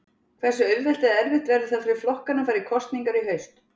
Hversu auðvelt eða erfitt verður það fyrir flokkana að fara í kosningar í haust?